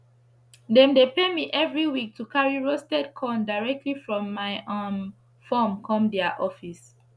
dem dey pay me everi week to carry roasted corn direct from my um form come dia office